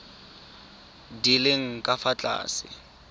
di leng ka fa tlase